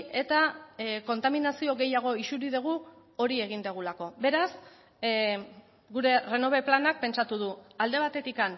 eta kontaminazio gehiago isuri dugu hori egin dugulako beraz gure renove planak pentsatu du alde batetik